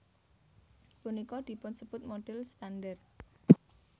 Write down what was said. Punika dipunsebut modhel standar